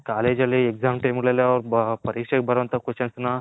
College ಅಲ್ಲಿ Exam Time ಗಳಲ್ಲಿ ಪರೀಕ್ಷೆಗೆ ಬಾರೋ ವಂಥ ಕ್ವೆಶನ್ಸ್ನ